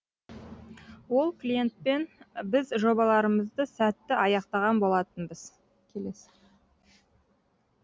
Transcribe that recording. ол клиентпен біз жобаларымызды сәтті аяқтаған болатынбыз